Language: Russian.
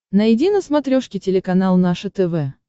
найди на смотрешке телеканал наше тв